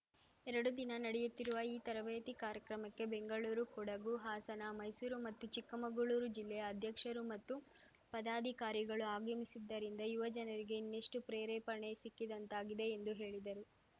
ಎರಡು ದಿನ ನಡೆಯುತ್ತಿರುವ ಈ ತರಬೇತಿ ಕಾರ್ಯಕ್ರಮಕ್ಕೆ ಬೆಂಗಳೂರು ಕೊಡಗು ಹಾಸನ ಮೈಸೂರು ಮತ್ತು ಚಿಕ್ಕಮಗಳೂರು ಜಿಲ್ಲೆಯ ಅಧ್ಯಕ್ಷರು ಮತ್ತು ಪದಾಧಿಕಾರಿಗಳು ಆಗಮಿಸಿದ್ದರಿಂದ ಯುವ ಜನರಿಗೆ ಇನ್ನೆಷ್ಟುಪ್ರೇರೇಪಣೆ ಸಿಕ್ಕಿದಂತಾಗಿದೆ ಎಂದು ಹೇಳಿದರು